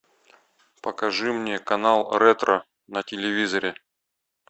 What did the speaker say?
покажи мне канал ретро на телевизоре